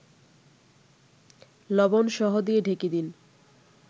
লবণসহ দিয়ে ঢেকে দিন